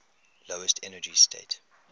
lowest energy state